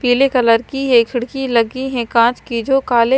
पीले कलर की ये खिड़की लगी हैं कांच की जो काले--